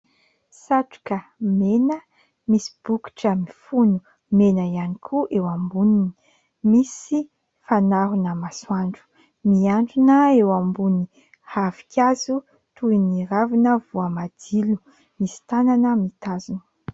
Satroka mena misy bokotra mifono mena ihany koa eo amboniny, misy fanarona masoandro mihandrona eo ambony ravinkazo toy ny ravina voamadilo, misy tanana mitazona.